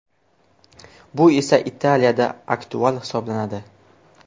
Bu esa Italiyada aktual hisoblanadi.